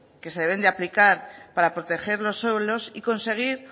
que se deben de aplicar para proteger los suelos y conseguir